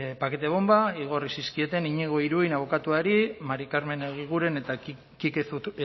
pakete bonba igorri zizkieten iñigo iruin abokatuari mari karmen egiguren eta kike